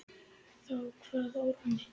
Þá kvað Árni